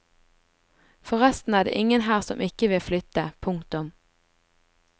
Forresten er det ingen her som ikke vil flytte. punktum